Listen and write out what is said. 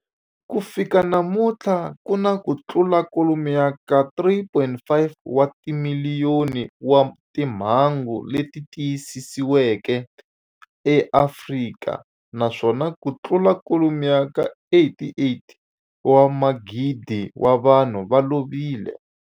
Ku fika namuntlha ku na kutlula kwalomu ka 3.5 wa timiliyoni wa timhangu leti tiyisisiweke eAfrika, naswona kutlula kwalomu ka 88,000 wa vanhu va lovile.